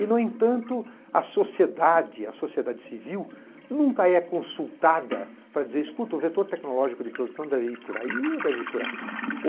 E, no entanto, a sociedade, a sociedade civil nunca é consultada para dizer, escuta, o vetor tecnológico de produção deve ir por aí ou deve ir por aqui.